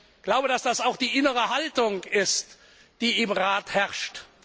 Ich glaube, dass das auch die innere Haltung ist, die im Rat herrscht.